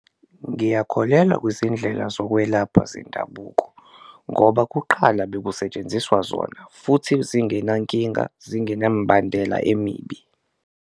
Ngiyakholelwa kuzindlela zokwelapha zendabuko ngoba kuqala bekusetshenziswa zona futhi zingenankinga, zingenambandela emibi.